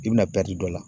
I bɛna dɔ la